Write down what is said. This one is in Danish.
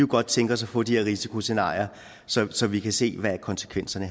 godt tænke os at få de her risikoscenarier så så vi kan se hvad konsekvenserne